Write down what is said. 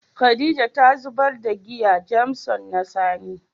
Khadijah ta zubar da giyan "Jameson " na sani.